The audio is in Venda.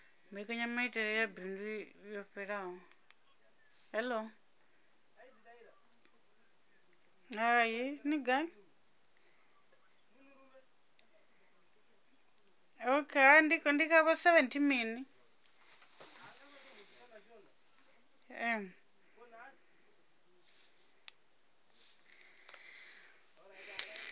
mbekanyamaitele ya bindu yo fhelelaho